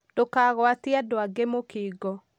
Ndûkagûatie andû angĩ mũkingo